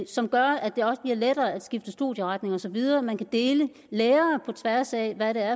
som gør at det også bliver lettere at skifte studieretning og så videre man kan dele lærere på tværs af hvad det er